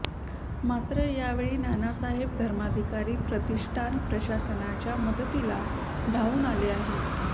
मात्र यावेळी नानासाहेब धर्माधिकारी प्रतिष्ठान प्रशासनाच्या मदतीला धावून आले आहे